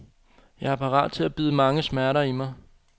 Jeg er parat til at bide mange smerter i mig.